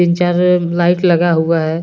तीन चार लाइट लगा हुआ है।